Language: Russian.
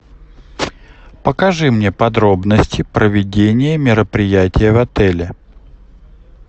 покажи мне подробности проведения мероприятия в отеле